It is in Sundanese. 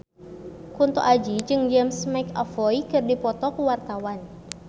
Kunto Aji jeung James McAvoy keur dipoto ku wartawan